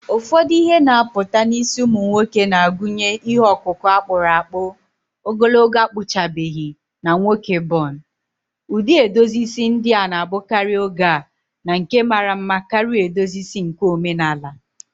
Ụfọdụ ihe na-apụta n’isi ụmụ nwoke na-agụnye ihe ọkụkụ a kpụrụ akpụ, ogologo akpụchabeghị, na nwoke bun. Ụdị edozi isi ndị a na-abụkarị oge a na nke mara mma karịa edozi isi nke omenala.